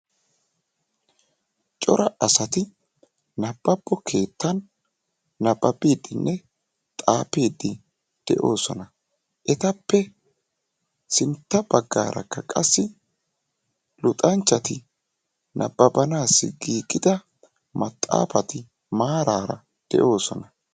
Cora asati nabbabo keettan nabbabiddinne xaafiiddi de'osona. Etappe sintta baggaarakka qassi luxanchchati nabbabanassi giigida maxaafati maaraara de'oosona.